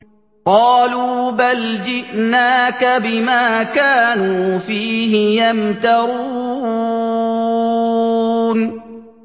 قَالُوا بَلْ جِئْنَاكَ بِمَا كَانُوا فِيهِ يَمْتَرُونَ